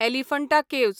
Elephanta caves